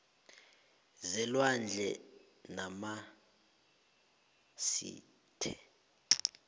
zelwandle namasil the